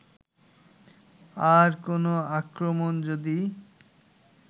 আর কোন আক্রমণ যদি